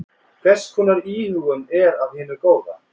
Hvers konar íhugun er af hinu góða.